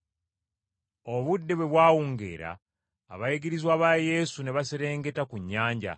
Obudde bwe bwawungeera abayigirizwa ba Yesu ne baserengeta ku nnyanja